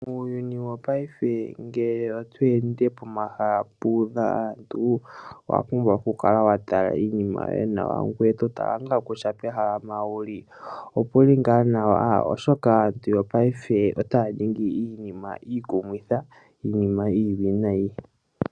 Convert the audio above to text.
Muuyuni wopaife ngele otweende pomahala puudha aantu, owapumbwa okukala watala iinima yoye nawa , ngoye totala kutya pehala mpoka wuli opuli ngaa nawa , oshoka aantu yopaife otaya ningi iinima iikumithi niiwinayi.